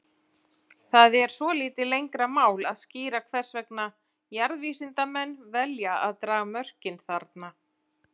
Það er svolítið lengra mál að skýra hvers vegna jarðvísindamenn velja að draga mörkin þarna.